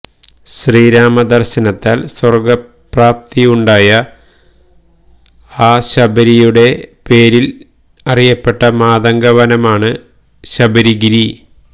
ശ്രീരാമദര്ശനത്താല് സ്വര്ഗ്ഗപ്രാപ്തി ഉണ്ടായ ആ ശബരിയുടെ പേരില് അറിയപ്പെട്ട മാതംഗവനമാണ് ശബരിഗിരി